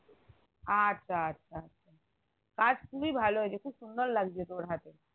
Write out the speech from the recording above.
আচ্ছা আচ্ছা কাজ খুবই ভালো হয়েছে খুব সুন্দর লাগছে তোর হাতে